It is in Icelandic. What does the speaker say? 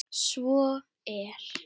Svo er